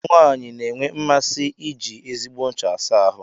Ụmụ nwanyị na-enwe mmasị iji ezigbo ncha asa ahụ.